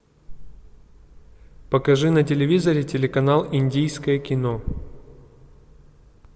покажи на телевизоре телеканал индийское кино